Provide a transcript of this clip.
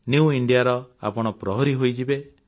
new India ର ଆପଣ ପ୍ରହରି ହୋଇଯିବେ